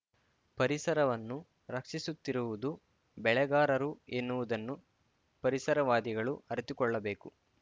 ಪರಿಸರವನ್ನು ರಕ್ಷಿಸುತ್ತಿರುವುದು ಬೆಳೆಗಾರರು ಎನ್ನುವುದನ್ನು ಪರಿಸರವಾದಿಗಳು ಅರಿತುಕೊಳ್ಳಬೇಕು